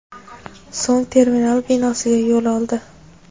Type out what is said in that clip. so‘ng terminal binosiga yo‘l oldi.